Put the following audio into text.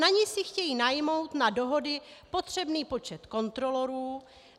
Na ni si chtějí najmout na dohody potřebný počet kontrolorů.